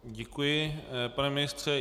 Děkuji, pane ministře.